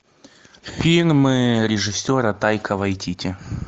фильмы режиссера тайка вайтити